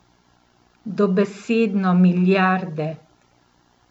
Dobesedno milijarde.